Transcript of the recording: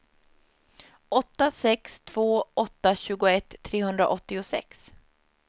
åtta sex två åtta tjugoett trehundraåttiosex